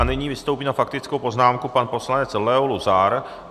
A nyní vystoupí na faktickou poznámku pan poslanec Leo Luzar.